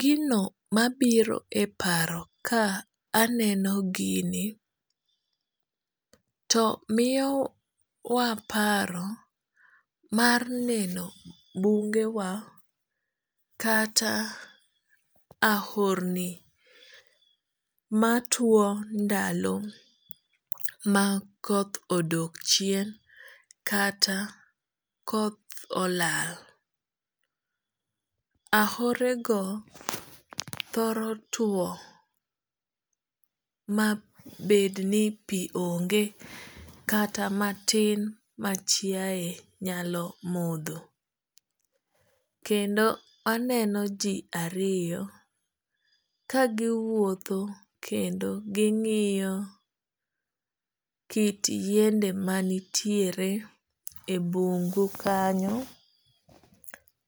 Gino mabiro e paro ka aneno gini to miyo wa paro mar neno bunge wa kata ahorni matuo ndalo ma koth odok chien kata koth olal. Ahore go thoro tuo ma bed ni pi onge kata matin ma chiaye nyalo modho. Kendo aneno ji ariyo ka giwuotho kendo ging'iyo kit yiende manitiere e bungu kanyo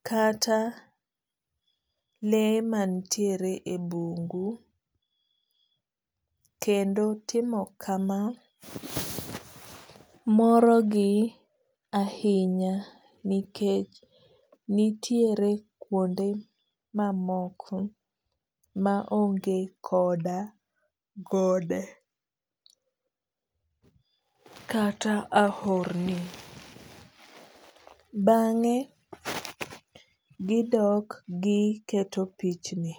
kata le mantiere e bungu. Kendo timo kama moro gi ahinya nikech nitiere kuonde mamoko ma onge koda gode kata ahorni. Bang'e gidok giketo pichni.